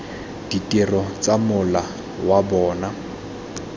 ditiro tsa mola wa bona